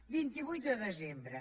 vint vuit de desembre